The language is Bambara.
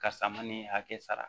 Ka sama ni hakɛ sara